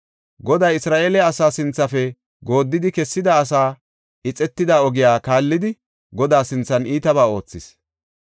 Goday Isra7eele asaa sinthafe gooddidi kessida asaa, ixetida ogiya kaallidi Godaa sinthan iitabaa oothis.